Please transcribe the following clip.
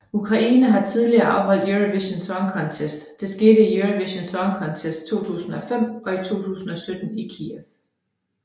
Ukraine har tidligere afholdt Eurovision Song Contest det skete i Eurovision Song Contest 2005 og i 2017 i Kyiv